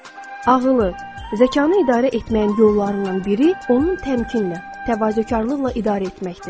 ağılı, zəkanı idarə etməyin yollarından biri, onu təmkinlə, təvazökarlıqla idarə etməkdir.